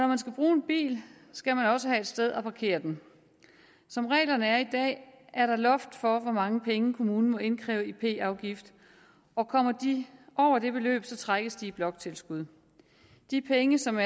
man skal bruge en bil skal man også have et sted at parkere den som reglerne er i dag er der loft for hvor mange penge kommunen må indkræve i p afgift og kommer de over det beløb trækkes de i bloktilskud de penge som